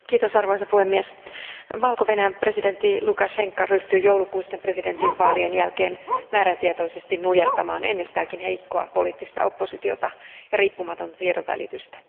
Arvoisa puhemies, Valko Venäjän presidentti Lukašenka ryhtyi joulukuisten presidentinvaalien jälkeen määrätietoisesti nujertamaan ennestäänkin heikkoa poliittista oppositiota ja riippumatonta tiedonvälitystä.